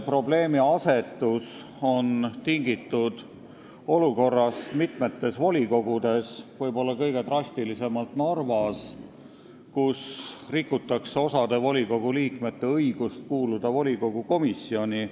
Probleemiasetus on tingitud olukorrast mitmes volikogus, võib-olla kõige drastilisem on see Narvas, kus rikutakse osa volikogu liikmete õigust kuuluda volikogu komisjoni.